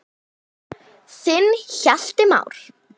Þinn Hjalti Már.